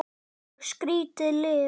Og skrýtið líf.